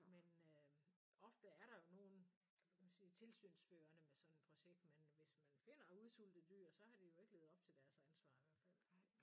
Men øh ofte er der jo nogen hvad kan man sige tilsynsførende med sådan et projekt men hvis man finder udsultede dyr så har de jo ikke levet op til deres ansvar i hvert fald